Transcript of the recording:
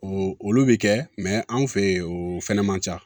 O olu bi kɛ anw fe yen o fɛnɛ man ca